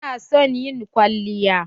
Ta na son yin kwalliya.